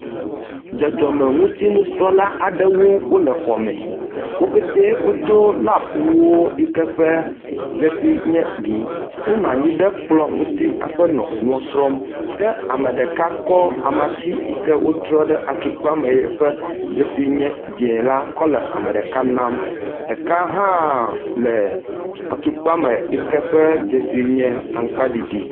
Dzɔdzɔme ŋuti nusrɔ̃la aɖewo le xɔ me, wo ƒete wodo lab wuwo yi ke ƒe dzesi nye ʋɛ̃. Wonɔ anyi ɖe kplɔ ŋuti hafi nɔ enuɔ srɔ̃m. kea me ɖeka kɔ amatsi yike wotrɔ ɖe atukpa me ƒe dzesi nye dze la kɔ le ɖeka nam. Ɖeka hã le atukpa me yike ƒe dzesi nye amakpa ɖiɖi.